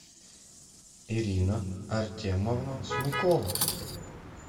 ирина артемовна смыкова